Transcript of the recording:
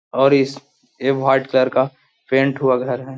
और इस a white colour का पेंट हुआ घर है ।